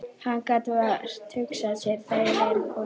Hann gat vart hugsað sér þægilegri konu.